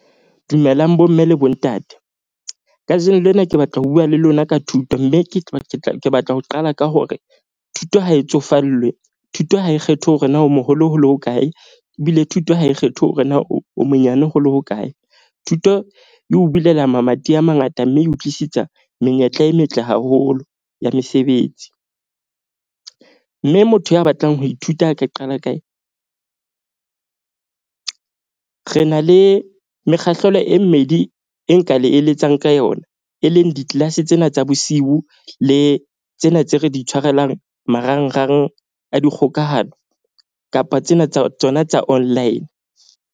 Dumelang bomme le bontate. Kajeno lena ke batla ho bua le lona ka thuto. Mme ke tla ke batla ho qala ka hore thuto ha e tsofallwe. Thuto ha e kgethe hore na o moholo holo ho kae, ebile thuto ha e kgethe hore na o monyane ho le hokae. Thuto e o bulela mamati a mangata, mme e o tlisetsa menyetla e metle haholo ya mesebetsi. Mme motho ya batlang ho ithuta a ka qala kae? Re na le mekgahlelo e mmedi e nka le eletsang ka yona, e leng di-class tsena tsa bosiu le tsena tse re di tshwarelang marangrang a dikgokahano kapa tsena tsa tsona tsa online.